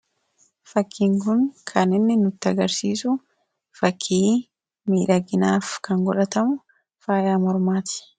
Fakkiin kun kan inni nutti agarsiisu fakkii miidhaginaaf kan godhatamu faayaa mormaati.